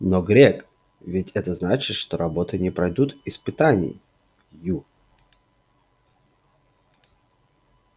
но грег ведь это значит что работы не пройдут испытаний ю